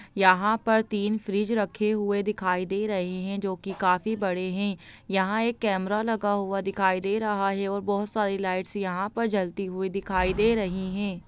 यहाँ पर तीन फ्रिज रखे हुए दिखाई दे रहे है जो कि काफी बड़े है यहाँ एक कैमरा लगा हुआ दिखाई दे रहा है और बहुत सारी लाइटस यहाँ पर जलती हुई दिखाई दे रही है।